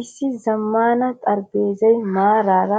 Issi zammaana xaraphpheezza maarara